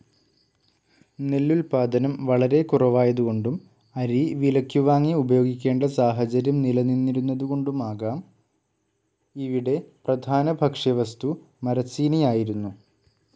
നെല്ലുൽപ്പാദനം വളരെ കുറവായതുകൊണ്ടും അരി വിലയ്ക്കുവാങ്ങി ഉപയോഗിക്കേണ്ട സാഹചര്യം നിലനിന്നിരുന്നതുകൊണ്ടുമാകാം ഇവിടെ പ്രധാന ഭക്ഷ്യവസ്തു മരച്ചീനിയായിരുന്നു.